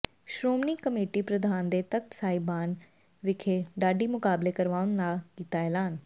Shiromani committee ਪ੍ਰਧਾਨ ਨੇ ਤਖ਼ਤ ਸਾਹਿਬਾਨ ਵਿਖੇ ਢਾਡੀ ਮੁਕਾਬਲੇ ਕਰਵਾਉਣ ਦਾ ਕੀਤਾ ਐਲਾਨ